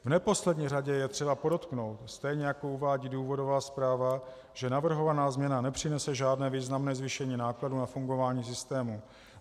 V neposlední řadě je třeba podotknout, stejně jako uvádí důvodová zpráva, že navrhovaná změna nepřinese žádné významné zvýšení nákladů na fungování systému.